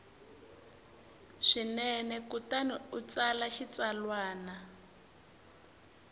swinene kutani u tsala xitsalwana